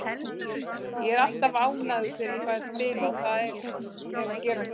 Ég er alltaf ánægður þegar ég fæ að spila og það er að gerast núna.